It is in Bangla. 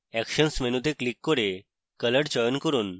actions মেনুতে click করুন এবং color চয়ন করুন